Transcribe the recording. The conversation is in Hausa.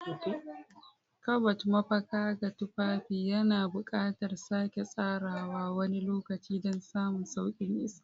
Kabad, mafaka ga tufafi, yana buƙatar sake tsarawa wani lokaci don samun sauƙin isa.